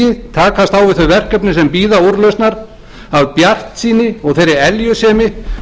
úrlausnar af bjartsýni og þeirri eljusemi sem hefur gert henni kleift allt frá landnámi að byggja